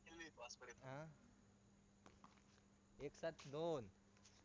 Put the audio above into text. एक साथदोन